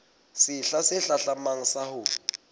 sehla se hlahlamang sa ho